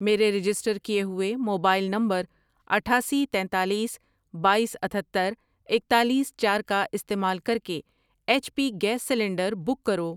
میرے رجسٹر کیے ہوئے موبائل نمبر اٹھاسی، تینتالیس، بایس، اتھتر، اکتالیس، چار کا استعمال کرکے H P gas cylinder book کرو۔